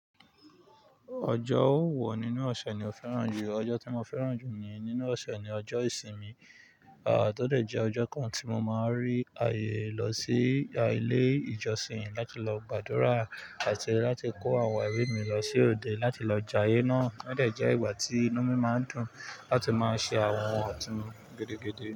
Ọjọ́ ó wọ nínú ọ̀ṣẹ̀ ni ò fẹ́ràn jù. Ọjọ́ tí mo fẹ́ràn jù ni nínú ọ̀ṣẹ̀ ni ọjọ́ ìsinmi, à tó dẹ̀ jẹ́ ọjọ́ kan tí mo máa ń rí ayé lọ sí ilé ìjọsìn láti lọ gbàdúrà àti láti kó àwọn ọ̀rẹ́ mi lọ sí òde láti lọ jayé náà. Ó dẹ̀ jẹ́ ìgbà tí inú mi máa ń dùn láti máa ṣe àwọn ohun ọ̀tún gidigidi.